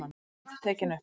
Réttarhöld tekin upp